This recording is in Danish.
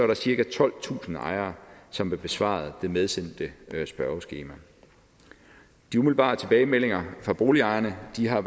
der cirka tolvtusind ejere som har besvaret det medsendte spørgeskema de umiddelbare tilbagemeldinger fra boligejerne har